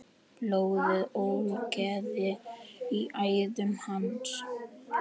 Blóðið ólgaði í æðum hans.